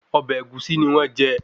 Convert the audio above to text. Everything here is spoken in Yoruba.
Ọbẹ̀ ẹ̀gúsí ni wọ́n jẹ